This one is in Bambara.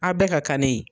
Aw bɛɛ ka kanni ye